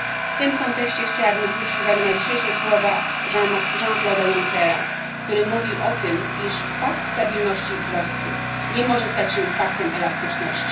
W tym kontekście chciałabym zwrócić uwagę na dzisiejsze słowa Jeana Clauda Junckera, który mówił o tym, iż pakt stabilności i wzrostu nie może stać się paktem elastyczności.